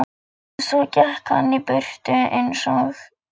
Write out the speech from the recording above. Svo gekk hann í burtu eins og